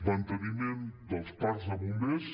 manteniment dels parcs de bombers